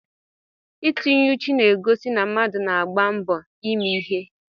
Itinye ùchù na-egosi na mmadụ na-agba mbọ ime ihe.